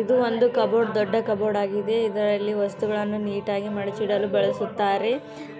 ಇದು ಒಂದು ಕಬೋರ್ಡ್ ದೊಡ್ಡ ಕಬೋರ್ಡ್ ಆಗಿದೆ ಇದರಲ್ಲಿ ವಸ್ತುಗಳನ್ನು ನೀಟ್ ಆಗಿ ಮಡಿಚಿದಳು ಬಳಸುತಾರೆ